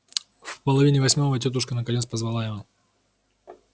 в половине восьмого тётушка наконец позвала его